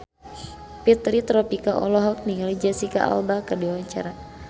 Fitri Tropika olohok ningali Jesicca Alba keur diwawancara